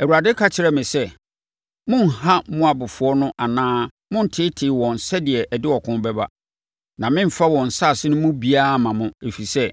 Awurade ka kyerɛɛ me sɛ, “Monnha Moabfoɔ no anaa monnteetee wɔn sɛdeɛ ɛde ɔko bɛba, na meremfa wɔn nsase no mu biara mma mo. Ɛfiri sɛ,